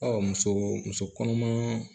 muso muso kɔnɔma